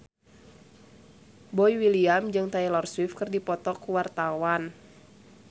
Boy William jeung Taylor Swift keur dipoto ku wartawan